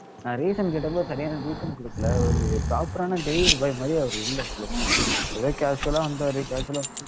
நான் reason கேட்டப்போ சரியான reason கொடுக்கல ஒரு proper ஆன delivery boy மாதிரியே அவரு இல்ல சொல்லப்போனா ஏதோ causal ஆ வந்தாரு causal ஆ